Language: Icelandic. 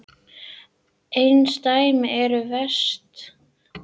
Einsdæmin eru verst.